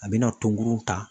A be na tɔnkuru ta